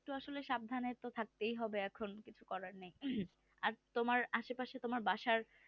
এইতো আসলে একটু সাবধানে থাকতেই হবে এখন কিছু করার নেই আর তোমার আশেপাশেই তোমার বাসার